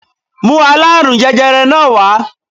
Mú aláàrùn jẹjẹrẹ náà wá